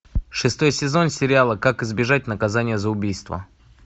шестой сезон сериала как избежать наказания за убийство